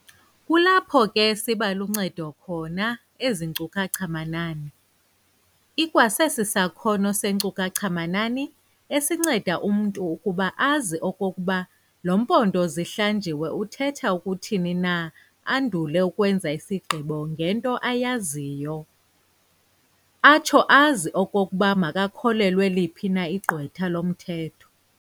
Kulapho ke sibaluncedo khona ezi nkcukacha-manani. ikwa sesi sakhono seenkcukacha-manani. esinceda umntu ukuba azi okokuba lo mpondo zihlanjiwe uthetha ukuthini na andule ukwenza isigqibo ngento ayaziyo, atsho azi okokuba makholelwe liphi na igqwetha lomthetho.